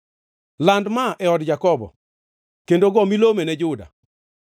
“Land ma ne od Jakobo kendo go milomeno ne Juda: